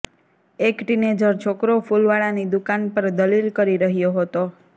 એક ટીનેજર છોકરો ફુલવાળા ની દુકાન પર દલીલ કરી રહ્યો હતો